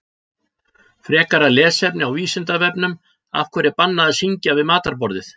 Frekara lesefni á Vísindavefnum Af hverju er bannað að syngja við matarborðið?